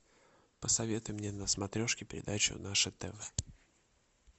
посоветуй мне на смотрешке передачу наше тв